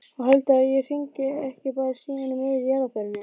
Og heldurðu að hringi ekki bara síminn í miðri jarðarförinni?